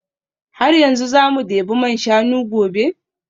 Har yanzu za mu debi man shanu gobe?